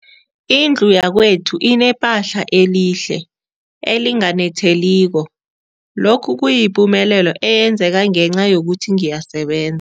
Indlu yakwethu inephahla elihle, elinganetheliko, lokhu kuyipumelelo eyenzeke ngenca yokuthi ngiyaseben